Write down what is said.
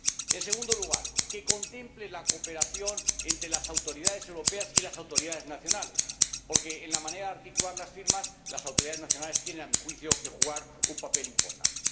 En segundo lugar, que contemple la cooperación entre las autoridades europeas y las autoridades nacionales, porque en la manera de articular las firmas, las autoridades nacionales tienen que desempeñar, a mi juicio, un papel importante.